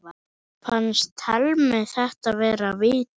Fannst Thelmu þetta vera víti?